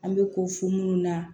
An bɛ ko fɔ minnu na